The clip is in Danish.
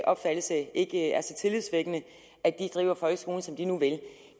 opfattelse ikke er så tillidsvækkende driver folkeskolen som de nu vil det